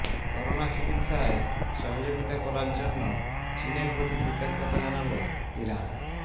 corona চিকিৎসায় সহযোগিতা করার জন্য চীনের প্রতি কৃতজ্ঞতা জানাল ইরান